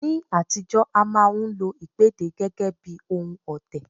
Ní àtijọ́, a máa ń lo ìpèdè gẹ́gẹ́ bí ohun ọ̀tẹ̀